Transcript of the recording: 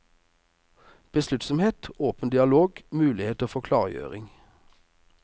Besluttsomhet, åpen dialog, muligheter for klargjøring.